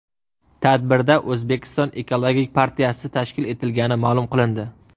Tadbirda O‘zbekiston ekologik partiyasi tashkil etilgani ma’lum qilindi.